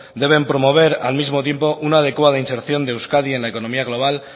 deben promover al mismo tiempo una adecuada inserción de euskadi en la economía global